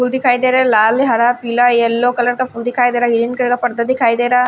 फूल दिखाई दे रहा है लाल हरा पीला येलो कलर का फूल दिखाई दे रहा है ग्रीन कलर का पर्दा दिखाई दे रहा --